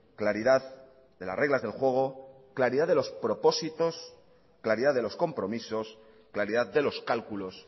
claridad de las reglas del juego claridad de los propósitos claridad de los compromisos claridad de los cálculos